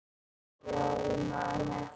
Já, ég man eftir þeim.